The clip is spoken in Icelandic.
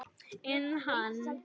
En hann!